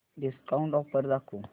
discount offer दाखव